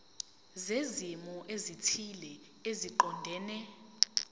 zezimo ezithile eziqondene